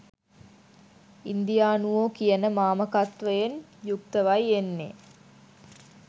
ඉන්දියානුවෝ කියන මාමකත්වයෙන් යුක්තවයි එන්නෙ